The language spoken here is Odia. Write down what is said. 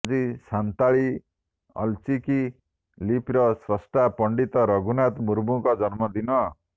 ଆଜି ସାନ୍ତାଳୀ ଅଲ୍ଚିକି ଲିପିର ସ୍ରଷ୍ଟା ପଣ୍ଡିତ ରଘୁନାଥ ମୁର୍ମୁଙ୍କ ଜନ୍ମଦିନ